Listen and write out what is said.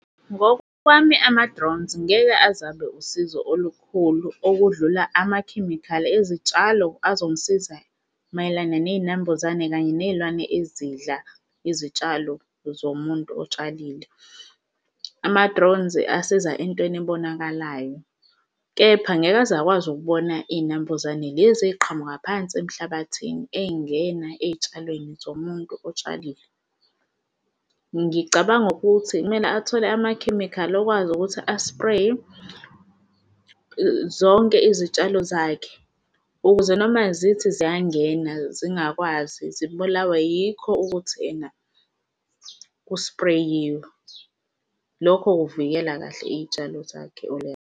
Ngokwami ama-drones ngeke aze abe usizo olukhulu okudlula amakhemikhali ezitshalo azongisiza mayelana ney'nambuzane kanye ney'lwane ezidla izitshalo zomuntu otshalile. Ama-drones asiza entweni ebonakalayo, kepha angeke aze akwazi ukubona iy'nambuzane lezi ey'qhamuka phansi emhlabathini ebey'ngena ey'tshalweni zomuntu otshalile. Ngicabanga ukuthi kumele athole amakhemikhali okwazi ukuthi aspreye zonke izitshalo zakhe ukuze noma zithi ziyangena zingakwazi zibulawe yikho ukuthi ena kuspreyiwe lokho kuvikela kahle iy'tshalo zakhe .